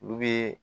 Olu bɛ